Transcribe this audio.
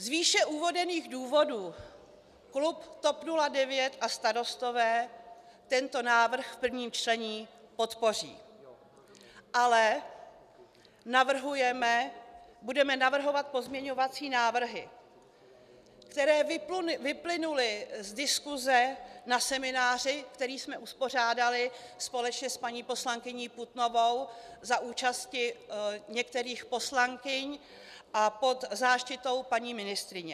Z výše uvedených důvodů klub TOP 09 a Starostové tento návrh v prvním čtení podpoří, ale budeme navrhovat pozměňovací návrhy, které vyplynuly z diskuse na semináři, který jsme uspořádali společně s paní poslankyní Putnovou za účasti některých poslankyň a pod záštitou paní ministryně.